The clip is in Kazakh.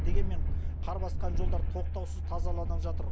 дегенмен қар басқан жолдар тоқтаусыз тазаланып жатыр